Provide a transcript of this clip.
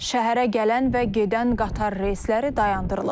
Şəhərə gələn və gedən qatar reysləri dayandırılıb.